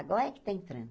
Agora é que está entrando.